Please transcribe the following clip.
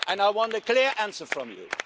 I want a clear answer from you.